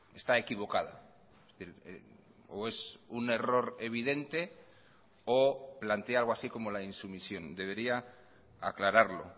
está equivocada o es un error evidente o plantea algo así como la insumisión debería aclararlo